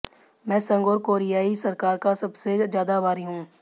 मैं संघ और कोरियाई सरकार का सबसे ज्यादा आभारी हूं